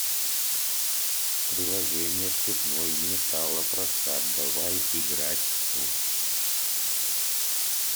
приложение цветной металлопрокат давай играть в